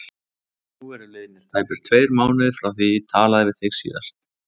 Nú eru liðnir tæpir tveir mánuðir frá því ég talaði við þig síðast.